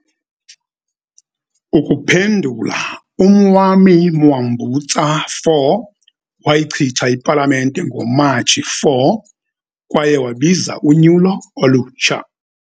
Ukuphendula, uMwami Mwambutsa IV wayichitha iPalamente ngoMatshi 4 kwaye wabiza unyulo olutsha.